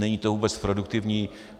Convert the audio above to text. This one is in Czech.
Není to vůbec produktivní.